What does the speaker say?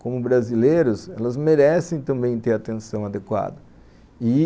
como brasileiros, elas merecem também ter atenção adequada e...